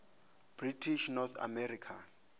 british north america